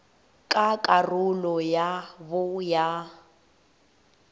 ka karolo ya bo ya